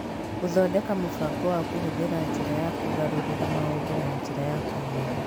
Gũthondeka mũbango wa kũhuthĩra njĩra ya kũgarũrĩra maũndũ na njĩra ya kũhiũha